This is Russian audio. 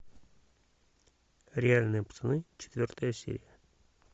реальные пацаны четвертая серия